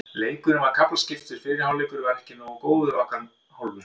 Leikurinn var kaflaskiptur, fyrri hálfleikurinn var ekki nógu góður að okkar hálfu.